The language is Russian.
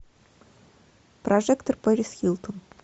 прожектор пэрис хилтон